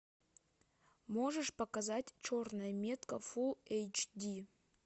можешь показать черная метка фул эйч ди